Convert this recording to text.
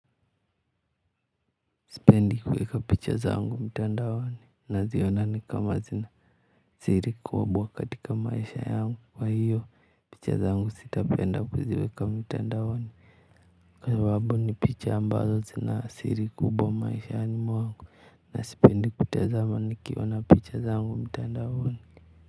Sipendi kuweka picha zangu mtandaoni naziona kama zina siri kubwa katika maisha yangu kwaio, picha zangu sitapenda kuziweka mtandaoni, kwa sababu ni picha ambazo zina siri kubwa maishani mwangu, na sipendi kutazama nikiona picha zangu mtandaoni.